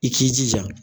I k'i jija